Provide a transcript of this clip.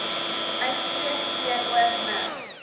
uitspreek teenoor me